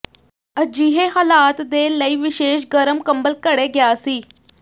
ਅਜਿਹੇ ਹਾਲਾਤ ਦੇ ਲਈ ਵਿਸ਼ੇਸ਼ ਗਰਮ ਕੰਬਲ ਘੜੇ ਗਿਆ ਸੀ